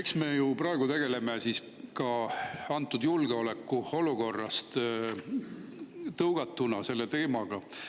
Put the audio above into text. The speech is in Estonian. Eks me ju praegu tegeleme ka julgeolekuolukorrast tõugatuna selle teemaga.